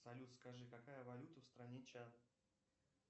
салют скажи какая валюта в стране чад